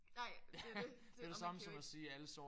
Nej det er jo det. Og man kan jo ikke